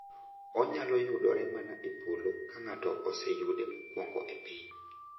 Onyalo yudore mana e polo ka ng’ato oseyude mokuongo e piny.